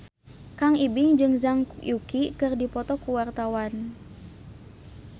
Kang Ibing jeung Zhang Yuqi keur dipoto ku wartawan